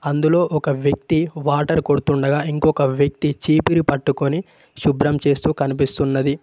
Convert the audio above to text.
ఇందులో ఒక వ్యక్తి వాటర్ కొడుతుండగా ఇంకొక వ్యక్తి చీపిరి పట్టుకొని శుభ్రం చేస్తూ కనిపిస్తున్నది.